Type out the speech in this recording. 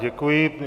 Děkuji.